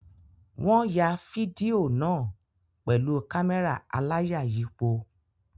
Wọ́n ya fídíò náà pẹ̀lú kámẹ́rà aláyàyípo.